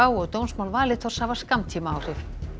og dómsmál Valitors hafa skammtímaáhrif